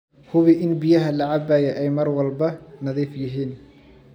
Hubi in biyaha la cabbaya ay mar walba nadiif yihiin.